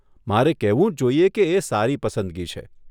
મારે કહેવું જ જોઈએ કે એ સારી પસંદગી છે.